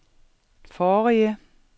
forrige